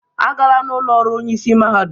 Agala n'ụlọ ọrụ onyeisi mahadum!